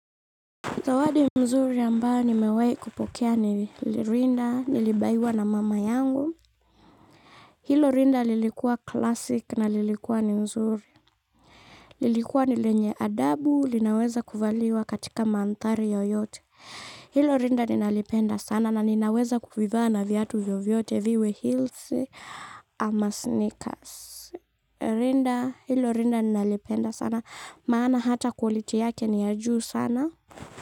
Zawadi mzuri ambayo nimewahi kupokea ni rinda, nilibaiwa na mama yangu. Hilo rinda lilikuwa classic na lilikuwa ni nzuri. Lilikuwa ni lenye adabu, linaweza kuvaliwa katika mandhari yoyote. Hilo rinda ninalipenda sana na ninaweza kuvivaa na viatu vyovyote viwe heels ama sneakers. Rinda, hilo rinda ninalipenda sana. Maana hata qality yake ni ya juu sana.